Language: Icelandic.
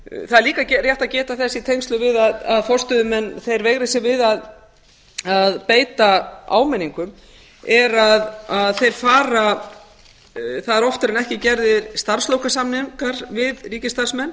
það er líka rétt að geta þess í tengslum við að forstöðumenn veigri sér við að beita áminningum að það eru oftar en ekki gerðir starfslokasamningar við ríkisstarfsmenn